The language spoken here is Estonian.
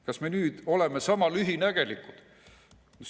Kas me nüüd oleme sama lühinägelikud?